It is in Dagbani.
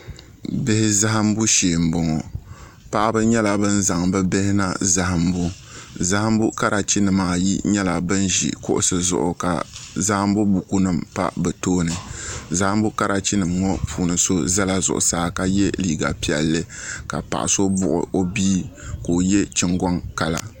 bihi zahinbu shɛɛ n bɔŋɔ paɣ' ba nyɛla ban zan be bihi kana zahinbu zahinbu karichi nim niribaayi ʒɛla kuɣ' zuɣ' ka zan buku nim pa be tuuni zahinbu karichinim ŋɔ puuni yino zala zuɣ saa ka yɛ liga piɛli ka paɣ' so buɣ' o bia ka o yɛ chingonkala